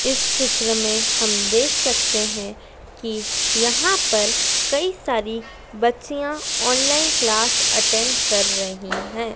इस चित्र में हम देख सकते हैं कि यहां पर कई सारी बच्चियां ऑनलाइन क्लास अटेंड कर रही हैं।